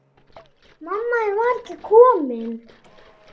Mamma þín var ekki komin.